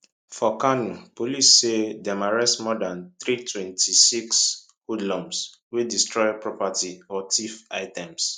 for kano police say dem arrest more dan 326 hoodlums wey destroy property or thief items